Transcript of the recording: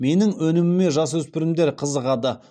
менің өніміме жасөспірімдер қызығады